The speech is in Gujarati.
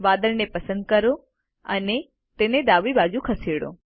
વાદળને પસંદ કરો અને તેને ડાબી બાજુએ ખસેડો